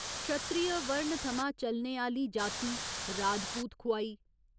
क्षत्रिय' वर्ण थमां चलने आह्‌ली जाति 'राजपूत' खुआई।